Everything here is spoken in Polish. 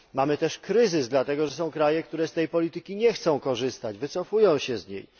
Mamy też kryzys, dlatego że są kraje, które z tej polityki nie chcą korzystać, wycofują się z niej.